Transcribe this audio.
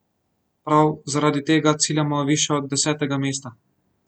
Prav zaradi tega ciljamo višje od desetega mesta.